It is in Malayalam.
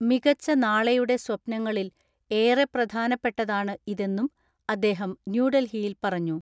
മികച്ച നാളെയുടെ സ്വപ്നങ്ങളിൽ ഏറെ പ്രധാനപ്പെട്ടതാണ് ഇതെന്നും അദ്ദേഹം ന്യൂഡൽഹിയിൽ പറഞ്ഞു.